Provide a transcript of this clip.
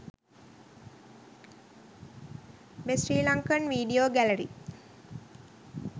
best sri lankan video gallary